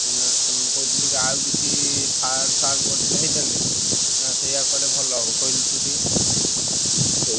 ନା ମୁଁ କହୁଥିଲି କି ଆଉ କିଛି farm କରିଥିଲେ ହେଇଥାନ୍ତା କି ନାଁ ସେଇଆ କଲେ ଭଲ ହବ କହିଲୁ ଟୁ ଟିକେ।